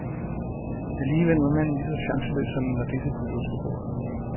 Alligevel var manden lige så chanceløs som en radise på et ostebord.